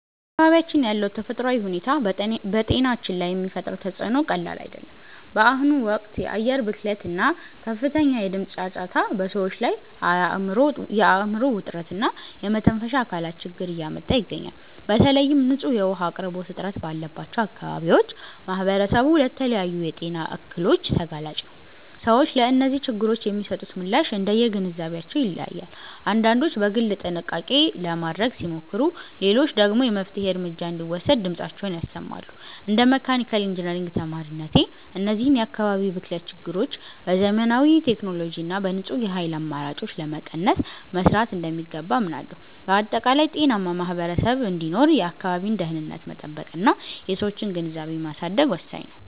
በአካባቢያችን ያለው ተፈጥሯዊ ሁኔታ በጤናችን ላይ የሚፈጥረው ተፅዕኖ ቀላል አይደለም። በአሁኑ ወቅት የአየር ብክለት እና ከፍተኛ የድምፅ ጫጫታ በሰዎች ላይ የአእምሮ ውጥረት እና የመተንፈሻ አካላት ችግር እያመጣ ይገኛል። በተለይም ንጹህ የውኃ አቅርቦት እጥረት ባለባቸው አካባቢዎች ማኅበረሰቡ ለተለያዩ የጤና እክሎች ተጋላጭ ነው። ሰዎች ለእነዚህ ችግሮች የሚሰጡት ምላሽ እንደየግንዛቤያቸው ይለያያል፤ አንዳንዶች በግል ጥንቃቄ ለማድረግ ሲሞክሩ፣ ሌሎች ደግሞ የመፍትሔ እርምጃ እንዲወሰድ ድምፃቸውን ያሰማሉ። እንደ መካኒካል ኢንጂነሪንግ ተማሪነቴ፣ እነዚህን የአካባቢ ብክለት ችግሮች በዘመናዊ ቴክኖሎጂ እና በንጹህ የኃይል አማራጮች ለመቀነስ መሥራት እንደሚገባ አምናለሁ። በአጠቃላይ፣ ጤናማ ማኅበረሰብ እንዲኖር የአካባቢን ደኅንነት መጠበቅና የሰዎችን ግንዛቤ ማሳደግ ወሳኝ ነው።